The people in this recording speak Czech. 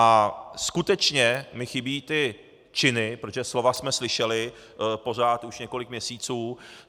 A skutečně mi chybí ty činy, protože slova jsme slyšeli, pořád, už několik měsíců.